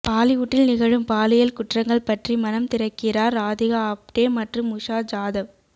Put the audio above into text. பாலிவுட்டில் நிகழும் பாலியல் குற்றங்கள் பற்றி மனம் திறக்கிறார் ராதிகா ஆப்டே மற்றும் உஷா ஜாதவ்